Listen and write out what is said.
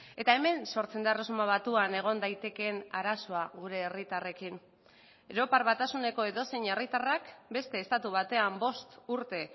eta hemen sortzen da erresuma batuan egon daitekeen arazoa gure herritarrekin europar batasuneko edozein herritarrak beste estatu batean bost urte